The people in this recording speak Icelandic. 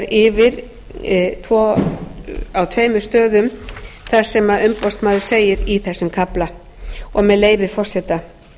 yfir á tveimur stöðum það sem umboðsmaður segir í þessum kafla og með leyfi forseta